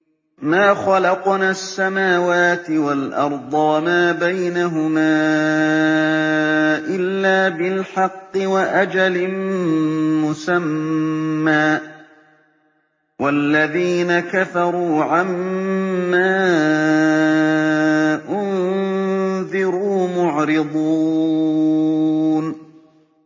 مَا خَلَقْنَا السَّمَاوَاتِ وَالْأَرْضَ وَمَا بَيْنَهُمَا إِلَّا بِالْحَقِّ وَأَجَلٍ مُّسَمًّى ۚ وَالَّذِينَ كَفَرُوا عَمَّا أُنذِرُوا مُعْرِضُونَ